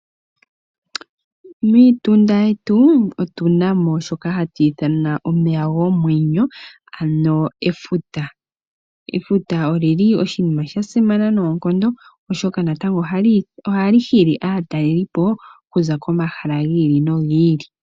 Miitunda yetu otuna mo shoka hatu ithana omeya gomwenyo, ano efuta. Efuta oshinima sha simana noonkondo, oshoka natango ohali hili aatalelipo okuza komahala gi ili nogi ili.